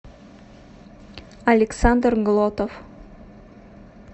александр глотов